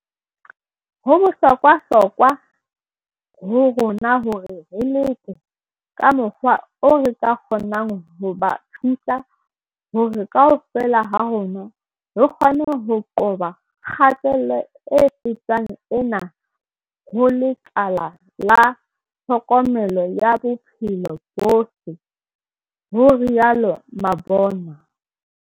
"Ho bohlokwa hlokwa ho rona hore re leke ka mokgwa oo re ka kgo nang ho ba thusa hore kaofela ha rona re kgone ho qoba kgatello e fetang ena ho lekala la tlhokomelo ya bophelo bo botle," ho rialo Mabona.